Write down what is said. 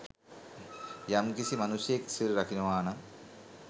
යම්කිසි මනුෂ්‍යයෙක් සිල් රකිනවානම්